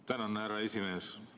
Tänan, härra esimees!